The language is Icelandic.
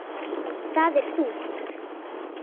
Það er þungt.